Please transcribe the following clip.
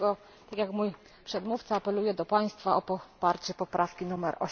Dlatego, tak jak mój przedmówca, apeluję do Państwa o poparcie poprawki nr